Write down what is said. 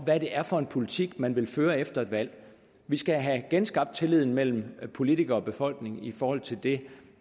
hvad det er for en politik man vil føre efter et valg vi skal have genskabt tilliden mellem politikere og befolkning i forhold til det